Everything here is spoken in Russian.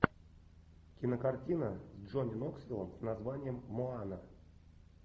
кинокартина с джонни ноксвилом с названием моана